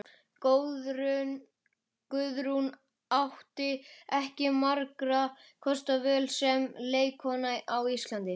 Guðrún átti ekki margra kosta völ sem leikkona á Íslandi.